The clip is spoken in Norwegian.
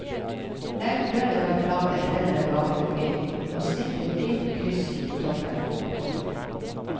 Legg brødet på en plate kledd med bakepapir og snitt et dypt kryss på toppen. punktum